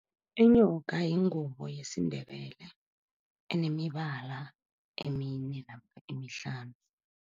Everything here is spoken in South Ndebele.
Inyoka yingubo yesiNdebele enemibala emine namkha emihlanu.